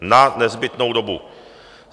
Na nezbytnou dobu.